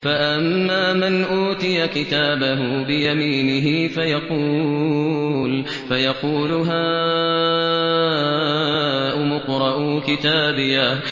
فَأَمَّا مَنْ أُوتِيَ كِتَابَهُ بِيَمِينِهِ فَيَقُولُ هَاؤُمُ اقْرَءُوا كِتَابِيَهْ